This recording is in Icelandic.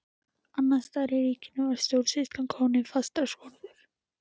Annars staðar í ríkinu var stjórnsýslan komin í fastar skorður.